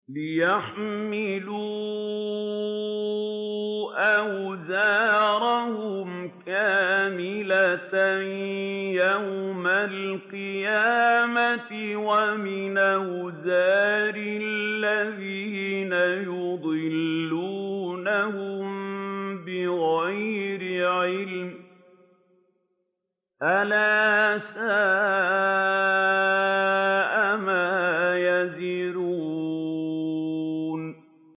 لِيَحْمِلُوا أَوْزَارَهُمْ كَامِلَةً يَوْمَ الْقِيَامَةِ ۙ وَمِنْ أَوْزَارِ الَّذِينَ يُضِلُّونَهُم بِغَيْرِ عِلْمٍ ۗ أَلَا سَاءَ مَا يَزِرُونَ